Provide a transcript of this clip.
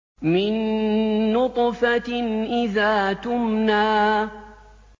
مِن نُّطْفَةٍ إِذَا تُمْنَىٰ